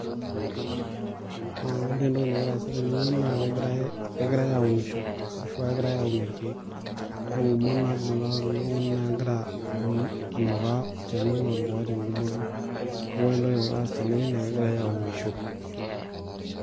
Wore entoki nakira aasa tenewoji naa kekirai, kekirae aunisho ashu ekirae aun irkiek. Naa ingumot naibungita ele tungani naa kekira aun anukaa olchani lotipikaki engumoto. Neeku wore entoki nakira aas tenewoji naa kekirae aunisho.